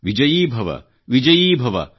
ವಿಜಯೀ ಭವ ವಿಜಯೀ ಭವ